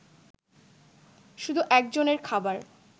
শুধু একজনের খাবার